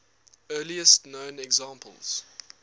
earliest known examples